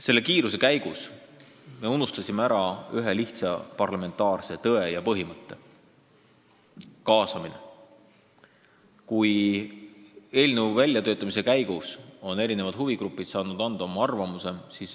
Selle kiiruse juures me unustasime ära ühe lihtsa parlamentaarse tõe ja põhimõtte – kaasamise, et eelnõu väljatöötamise käigus saaksid huvigrupid anda oma arvamuse.